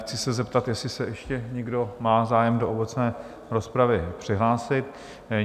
Chci se zeptat, jestli má ještě někdo zájem se do obecné rozpravy přihlásit?